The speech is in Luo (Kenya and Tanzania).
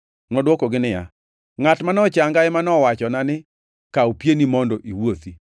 Nodwokogi niya, “Ngʼat ma nochanga ema nowachona ni, ‘Kaw pieni mondo iwuothi.’ ”